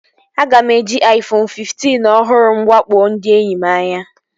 Aga m eji Aifonu fiftin ọhụrụ m wakpo ndị enyi m anya